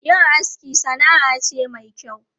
Yin aski sana'a ce mai kyau.